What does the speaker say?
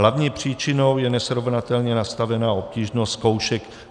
Hlavní příčinou je nesrovnatelně nastavená obtížnost zkoušek.